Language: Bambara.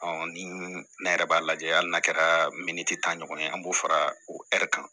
ni ne yɛrɛ b'a lajɛ hali n'a kɛra miniti tan ɲɔgɔn ye an b'o fara o ɛri kan